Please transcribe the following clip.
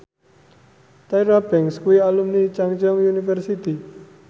Tyra Banks kuwi alumni Chungceong University